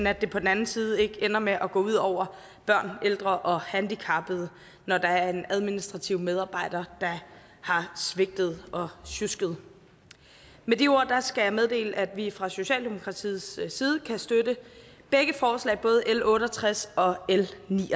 at det på den anden side ikke ender med at gå ud over børn ældre og handicappede når der er en administrativ medarbejder der har svigtet og sjusket med de ord skal jeg meddele at vi fra socialdemokratiets side kan støtte begge forslag både l otte og tres og